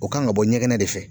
O kan ka bɔ ɲɛgɛnɛ de fɛ